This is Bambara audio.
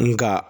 Nga